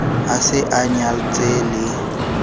a se a nyaltse le